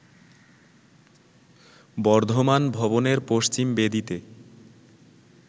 বর্ধমান ভবনের পশ্চিম বেদিতে